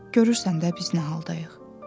Görürsən də biz nə haldayıq.